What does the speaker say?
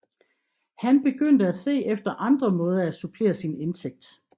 Han begyndte at se efter andre måder at supplere sin indtægt